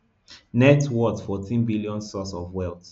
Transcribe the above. net worth fourteen billion source of wealth